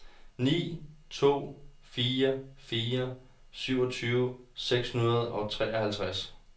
ni to fire fire syvogtyve seks hundrede og treoghalvtreds